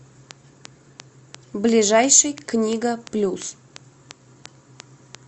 ближайший книга плюс